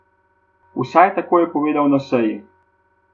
Vsaj tako je povedal na seji.